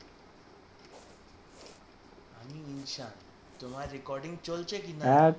আমি ইনসান তোমার recording চলছে কিনা?